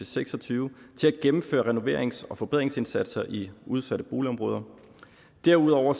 seks og tyve til at gennemføre renoverings og forbedringsindsatser i udsatte boligområder derudover